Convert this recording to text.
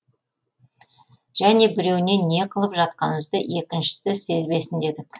және біреуіне не қылып жатқанымызды екіншісі сезбесін дедік